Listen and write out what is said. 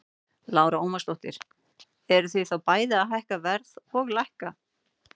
Lára Ómarsdóttir: Eruð þið þá bæði að hækka verð og lækka?